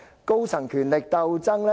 高層權力鬥爭？